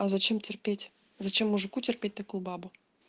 а зачем терпеть зачем мужику терпеть такую бабу